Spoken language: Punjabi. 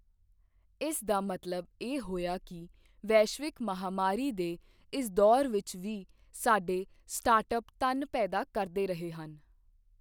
ਇਸ ਦਾ ਮਤਲਬ ਇਹ ਹੋਇਆ ਕਿ ਵੈਸ਼ਵਿਕ ਮਹਾਮਾਰੀ ਦੇ ਇਸ ਦੌਰ ਵਿੱਚ ਵੀ ਸਾਡੇ ਸਟਾਰਟਅੱਪ ਧਨ ਪੈਦਾ ਕਰਦੇ ਰਹੇ ਹਨ।